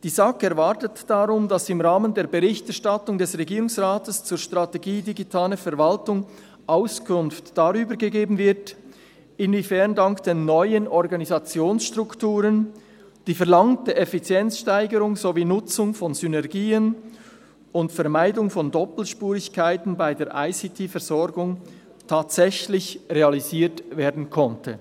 Die SAK erwartet daher, dass im Rahmen der Berichterstattung des Regierungsrates zur «Strategie Digitale Verwaltung» Auskunft darüber gegeben wird, inwiefern dank den neuen Organisationsstrukturen die verlangte Effizienzsteigerung sowie Nutzung von Synergien und Vermeidung von Doppelspurigkeiten bei der ICTVersorgung tatsächlich realisiert werden konnten.